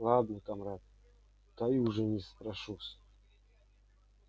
ладно камрад дай у жены спрошусь